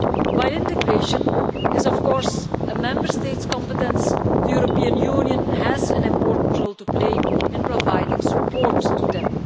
While integration is of course a Member State's competence, the European Union has an important role to play in providing support to them.